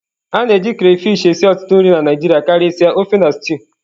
A na-eji crayfish esi ọtụtụ nri na Naijiria karịsịa ofe na stew.